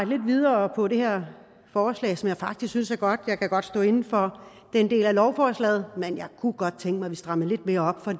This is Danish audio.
lidt videre på det her forslag som jeg faktisk synes er godt jeg kan godt stå inde for den del af lovforslaget men jeg kunne godt tænke mig at vi strammede lidt mere op for